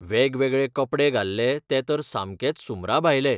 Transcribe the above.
वेगवेगळे कपडे घाल्ले ते तर सामकेच सुमराभायले.